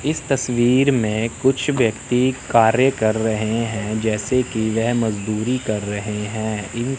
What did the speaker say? इस तस्वीर में कुछ व्यक्ति कार्य कर रहे हैं जैसे कि वह मजदूरी कर रहे हैं।